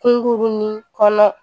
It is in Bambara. Kunkurunin kɔnɔ